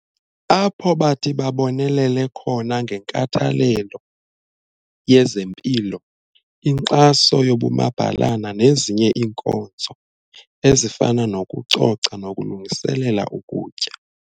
Apho bathi babonelele khona ngenkathalelo yezempilo, inkxaso yobumabhalana nezinye iinkonzo ezifana nokucoca nokulungiselela ukutya.